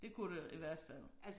Det kunne det i hvert fald